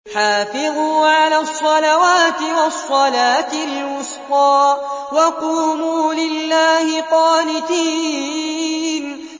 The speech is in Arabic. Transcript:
حَافِظُوا عَلَى الصَّلَوَاتِ وَالصَّلَاةِ الْوُسْطَىٰ وَقُومُوا لِلَّهِ قَانِتِينَ